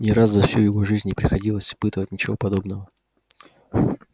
ни разу за всю его жизнь не приходилось испытывать ничего подобного